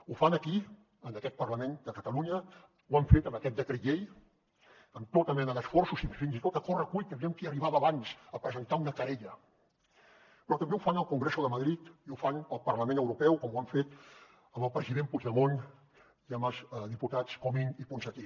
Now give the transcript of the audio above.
ho fan aquí en aquest parlament de catalunya ho han fet amb aquest decret llei amb tota mena d’esforços i fins i tot a correcuita aviam qui arribava abans a presentar una querella però també ho fan al congreso de madrid i ho fan al parlament europeu com ho han fet amb el president puigdemont i amb els diputats comín i ponsatí